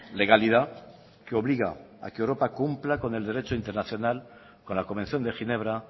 legalidad que obliga a que europa cumpla con el derecho internacional con la convención de ginebra